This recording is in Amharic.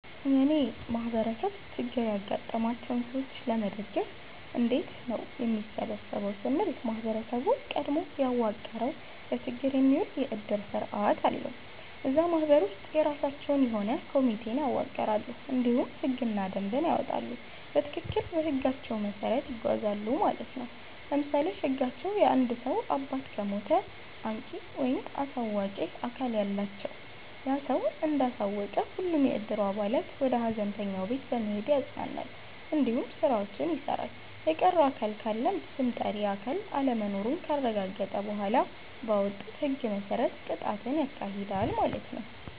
የእኔ ማህበረሰብ ችግር ያጋጠማቸውን ሰዎች ለመደገፍ እንዴት ነው የሚሰበሰበው ስንል ማህበረሰቡ ቀድሞ ያዋቀረዉ ለችግር የሚዉል የዕድር ስርዓት አለዉ። እዛ ማህበር ውስጥ የራሳቸዉ የሆነ ኮሚቴን ያዋቅራሉ እንዲሁም ህግና ደንብን ያወጣሉ በትክክል በህጋቸዉ መሰረት ይጓዛሉ ማለት ነዉ። ለምሳሌ ህጋቸዉ የአንድ ሰዉ አባት ከሞተ አንቂ(አሳዋቂ)አካል አላቸዉ ያ ሰዉ እንዳሳወቀ ሁሉም የዕድሩ አባላት ወደ ሀዘንተኛዉ ቤት በመሄድ ያፅናናል እንዲሁም ስራዎችን ይሰራል። የቀረ አካል ካለም ስም ጠሪ አካል አለመኖሩን ካረጋገጠ በኋላ ባወጡት ህግ መሰረት ቅጣትን ያካሂዳል ማለት ነዉ።